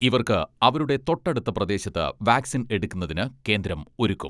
ഇവർക്ക് അവരുടെ തൊട്ടടുത്ത പ്രദേശത്ത് വാക്സിൻ എടുക്കുന്നതിന് കേന്ദ്രം ഒരുക്കും.